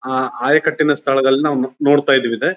ಆಹ್ ಆಯಕಟ್ಟಿನ ಸ್ಥಳದಲ್ಲಿ ನಾವು ನೊ ನೋಡತ್ತಾ ಇದ --